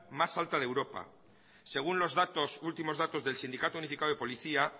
más alta de europa según los datos últimos datos del sindicato unificado de policía